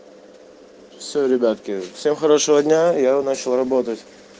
всё ребятки всем хорошего дня я начал работать